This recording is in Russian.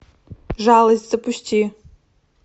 жалость запусти